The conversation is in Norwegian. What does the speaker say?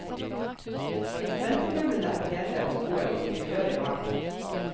Ventemøblene er pene og gode og interiøret varmt.